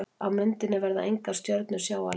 Á myndinni verða engar stjörnur sjáanlegar.